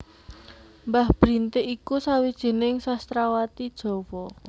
Mbah Brintik iku sawijining sastrawati Jawa